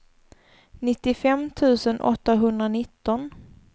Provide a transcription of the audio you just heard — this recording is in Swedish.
nittiofem tusen åttahundranitton